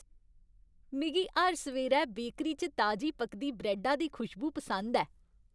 मिगी हर सवेरै बेकरी च ताजी पकदी ब्रैड्डा दी खुशबू पसंद ऐ।